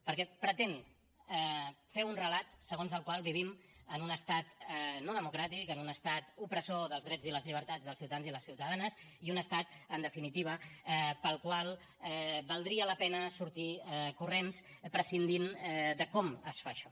perquè pretén fer un relat segons el qual vivim en un estat no democràtic en un estat opressor dels drets i les llibertats dels ciutadans i les ciutadanes i un estat en definitiva del qual valdria la pena sortir corrents prescindint de com es fa això